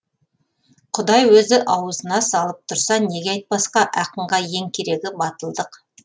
құдай өзі ауызына салып тұрса неге айтпасқа ақынға ең керегі батылдық